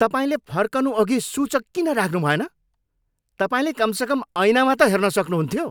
तपाईँले फर्कनुअघि सूचक किन राख्नुभएन? तपाईँले कमसेकम ऐनामा त हेर्न सक्नुहुन्थ्यो।